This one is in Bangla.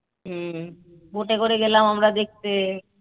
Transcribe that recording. boat এ করে গেলাম আমরা দেখতে